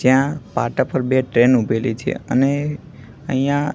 ત્યાં પાટા પર બે ટ્રેન ઉભેલી છે અને અહીંયા--